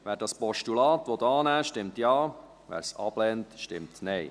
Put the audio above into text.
Wer dieses Postulat annehmen will, stimmt Ja, wer es ablehnt, stimmt Nein.